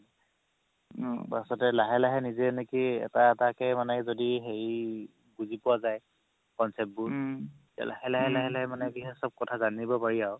পাছতে লাহে লাহে নিজে নেকি এটা এটা কে যদি হেৰি বুজি পোৱা যাই concept বোৰ তেতিয়া লাহে লাহে লাহে মানে কি হয় চ'ব কথা জানিব পাৰি আৰু